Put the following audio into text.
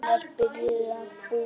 Hún er byrjuð að búa!